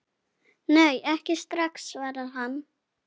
Nei, ekki strax, svarar hann.